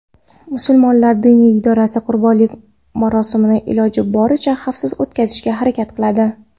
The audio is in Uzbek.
Musulmonlar diniy idorasi qurbonlik marosimini iloji boricha xavfsiz o‘tkazishga harakat qiladi.